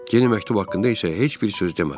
Yeni məktub haqqında isə heç bir söz demədilər.